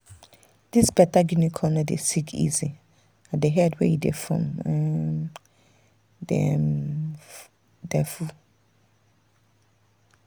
this better guinea corn no dey sick easy and the head wey e dey form um dey um full.